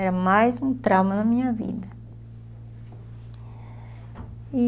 Era mais um trauma na minha vida.